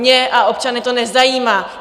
Mě a občany to nezajímá!